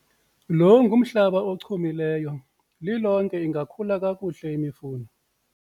lo ngumhlaba ochumileyo, lilonke ingakhula kakuhle imifuno